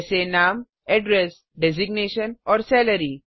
जैसे nameनाम addressपता designationपद और salaryवेतन